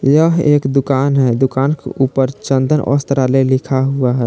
यह एक दुकान है दुकान के ऊपर चंदन वस्त्रालय लिखा हुआ है।